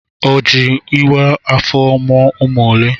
O jị ịwa afọ mụọ ụmụ ole?